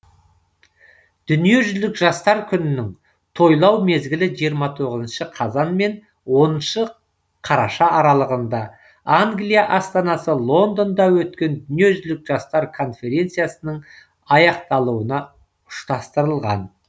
дүниежүзілік жастар күнінің тойлау мезгілі жиырма тоғызыншы қазан мен оныншы қараша аралығында англия астанасы лондонда өткен дүниежүзілік жастар конференциясының аяқталуына ұштастырылған